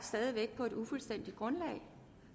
på et ufuldstændigt grundlag